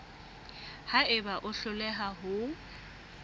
ha eba o hloleha ho